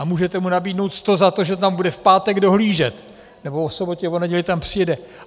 A můžete mu nabídnout 100 za to, že tam bude v pátek dohlížet, nebo o sobotě, o neděli tam přijede.